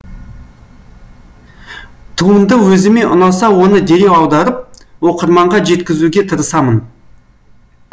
туынды өзіме ұнаса оны дереу аударып оқырманға жеткізуге тырысамын